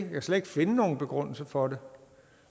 kan slet ikke finde nogen begrundelse for det